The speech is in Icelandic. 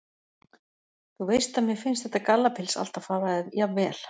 Þú veist að mér finnst þetta gallapils alltaf fara þér jafnvel.